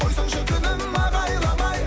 қойсаңшы күнім ағайламай